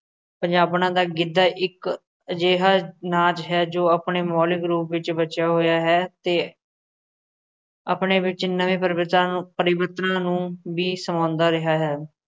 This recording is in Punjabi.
ਪੰਜਾਬਣਾਂ ਦਾ ਗਿੱਧਾ ਇੱਕ ਅਜਿਹਾ ਨਾਚ ਹੈ ਜੋ ਆਪਣੇ ਮੌਲਿਕ ਰੂਪ ਵਿੱਚ ਬਚਿਆ ਹੋਇਆ ਹੈ ਅਤੇ ਆਪਣੇ ਵਿੱੱਚ ਨਵੇਂ ਪਰਬਚਨਾਂ ਨੂੰ ਪਰਿਵਰਤਨਾਂ ਨੂੰ ਵੀ ਸਮਾਉਂਦਾ ਰਿਹਾ ਹੈ,